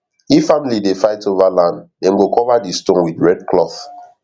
if family dey fight over land dem go cover di stone with red cloth